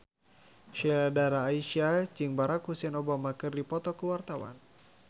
Sheila Dara Aisha jeung Barack Hussein Obama keur dipoto ku wartawan